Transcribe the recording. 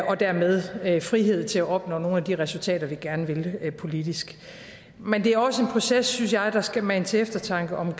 og dermed frihed til at opnå nogle af de resultater vi gerne vil politisk men det er også en proces synes jeg der skal mane til eftertanke om